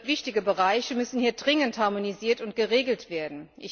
Wichtige Bereiche müssen hier dringend harmonisiert und geregelt werden.